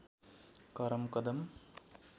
करम कदम